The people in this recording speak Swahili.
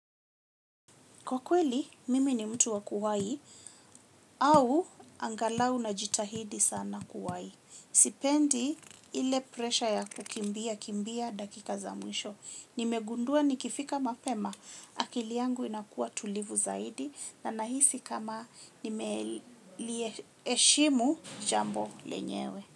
Kwa kweli, mimi ni mtu wa kuwai au angalau najitahidi sana kuwai. Sipendi ile presha ya kukimbia kimbia dakika za mwisho. Nimegundua nikifika mapema, akili yangu inakuwa tulivu zaidi na nahisi kama nimelieshimu jambo lenyewe.